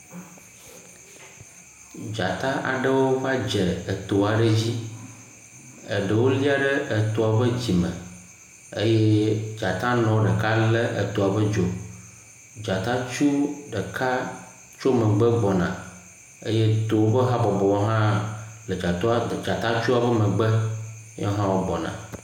Dzata aɖewo va dze eto aɖe dzi. Eɖewo lia ɖe etoa ƒe dzime eye dzatanɔ ɖeka lé etoa ƒe dzo. Dzatatsu ɖeka tso megbe gbɔna eye towo ƒe habɔbɔwo hã le dzatatsuawo megbe, yɔwo hã wogbɔna.